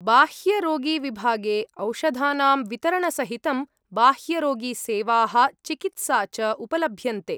बाह्यरोगीविभागे औषधानां वितरणसहितं बाह्यरोगीसेवाः चिकित्सा च उपलभ्यन्ते।